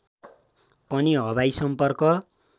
पनि हवाई सम्पर्क